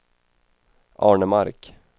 Arnemark